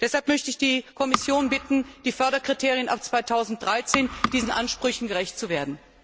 Deshalb möchte ich die Kommission bitten, dass die Förderkriterien für 2013 diesen Ansprüchen gerecht werden.